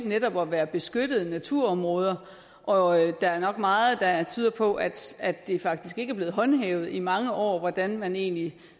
netop at være beskyttede naturområder og der er nok meget der tyder på at at det faktisk ikke er blevet håndhævet i mange år hvordan man egentlig